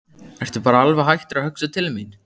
Ertu bara alveg hættur að hugsa til mín?